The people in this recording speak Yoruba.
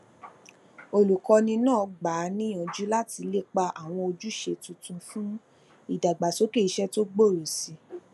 olukọni naa gba a niyanju lati lepa awọn ojuṣe tuntun fun idagbasoke iṣẹ ti gbooro si i